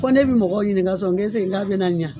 Fɔ ne bi mɔgɔw ɲininga sɔn nge esiki nka be na ɲa